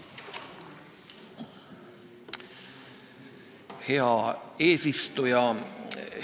Hea eesistuja!